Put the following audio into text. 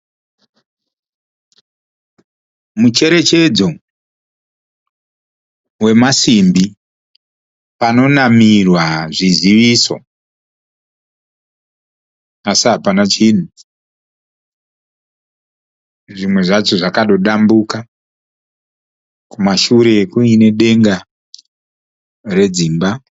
Mucherechedzo wemasimbi panonamirwa zviziviso asi hapana chinhu. Zvimwe zvacho zvakadodambuka. Kumashure kuine denga redzimba.